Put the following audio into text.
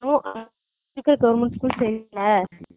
இங்க இருக்குற government school சேரி இல்ல